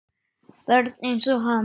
Börn einsog hann.